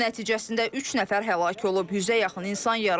Hücum nəticəsində üç nəfər həlak olub, yüzə yaxın insan yaralanıb.